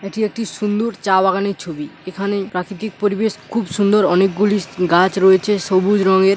এটি একটি সুন্দুর চা বাগানের ছবি। এখানে প্রাকৃতিক পরিবেশ খুব সুন্দর। অনেকগুলি স গাছ রয়েছে সবুজ রঙের--